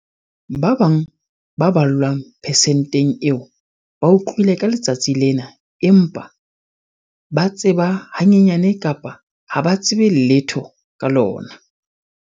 Ba bang ba ballwang persenteng eo ba utlwile ka letsatsi lena empa ba tseba hanyenyane kapa ha ba tsebe letho ka lona.